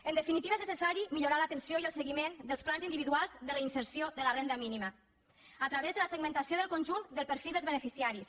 en definitiva és necessari millorar l’atenció i el seguiment dels plans individuals de reinserció de la renda mínima a través de la segmentació del conjunt del perfil dels beneficiaris